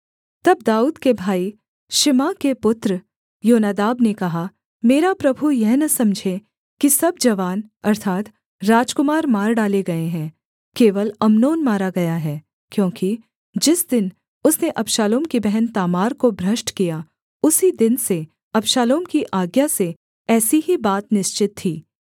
तब दाऊद के भाई शिमआह के पुत्र योनादाब ने कहा मेरा प्रभु यह न समझे कि सब जवान अर्थात् राजकुमार मार डाले गए हैं केवल अम्नोन मारा गया है क्योंकि जिस दिन उसने अबशालोम की बहन तामार को भ्रष्ट किया उसी दिन से अबशालोम की आज्ञा से ऐसी ही बात निश्चित थी